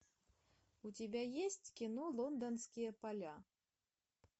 у тебя есть кино лондонские поля